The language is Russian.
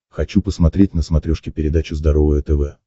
хочу посмотреть на смотрешке передачу здоровое тв